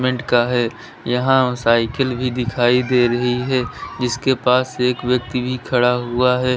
का है यहां साइकिल भी दिखाई दे रही है जिसके पास एक व्यक्ति भी खड़ा हुआ है।